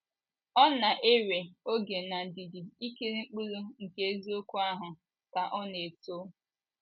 Ọ na - ewe oge na ndidi ikiri mkpụrụ nke eziokwu ahụ ka ọ na - eto.